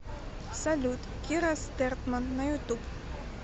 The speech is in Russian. салют кира стертман на ютуб